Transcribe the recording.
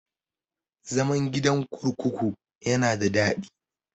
Zaman gidan kurkuku yana da daɗi.